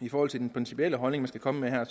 i forhold til den principielle holdning vi skal komme med her